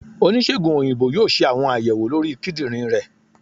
onisegùn oyinbo yóò se awọn ayèwó lorí kíndìnrín ré